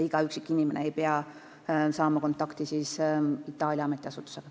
Iga üksik inimene ei pea saama kontakti Itaalia ametiasutusega.